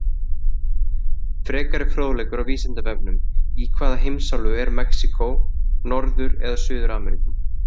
Frekari fróðleikur á Vísindavefnum: Í hvaða heimsálfu er Mexíkó, Norður- eða Suður-Ameríku?